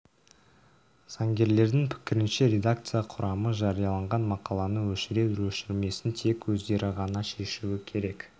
заңгерлердің пікірінше редакция құрамы жарияланған мақаланы өшірер-өшірмесін тек өздері ғана шешуі керек